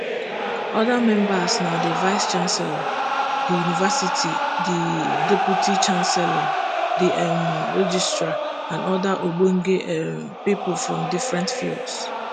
oda members na di vicechancellor di university di deputy vicechancellor di um registrar and oda ogbonge um pipo from different fields